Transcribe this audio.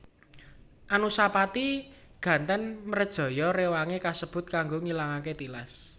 Anusapati gantèn mrejaya rewangé kasebut kanggo ngilangaké tilas